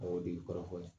O de ye kɔrɔfɔ ye